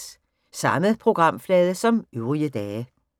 Samme programflade som øvrige dage